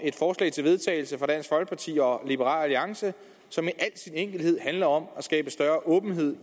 et forslag til vedtagelse fra dansk folkeparti og liberal alliance som i al sin enkelhed handler om at skabe større åbenhed